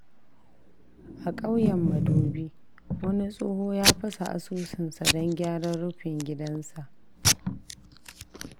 A kauyen Madobi, wani tsoho ya fasa asusunsa don gyaran rufin gidansa.